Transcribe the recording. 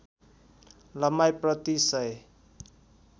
लम्बाइ प्रति १००